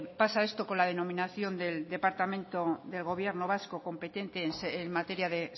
pasa esto con denominación del departamento del gobierno vasco competente en materia de